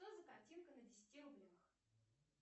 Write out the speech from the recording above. что за картинка на десяти рублях